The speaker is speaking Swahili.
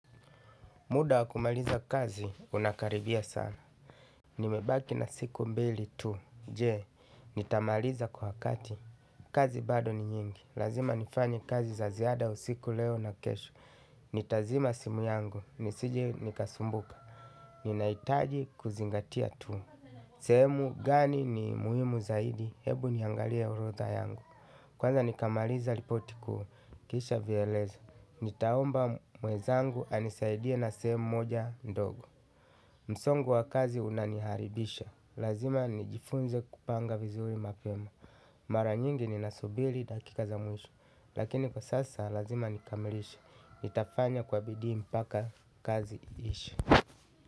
Muda wa kumaliza kazi unakaribia sana. Nimebaki na siku mbili tu. Jee, nitamaliza kwa wakati. Kazi bado ni nyingi. Lazima nifanye kazi za ziada usiku leo na kesho. Nitazima simu yangu. Nisije nikasumbuka. Ninahitaji kuzingatia tu. Sehemu gani ni muhimu zaidi. Hebu niangalia orodha yangu. Kwanza nikamaliza ripoti kuu. Kisha vielezo. Nitaomba mwenzangu anisaidie na sehemu moja ndogo. Msongo wa kazi unaniharibisha. Lazima nijifunze kupanga vizuri mapema. Mara nyingi ninasubiri dakika za mwisho. Lakini kwa sasa lazima nikamilishe nitafanya kwa bidii mpaka kazi iishe.